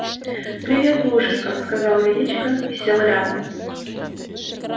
привет плужников сказал величко и сел рядом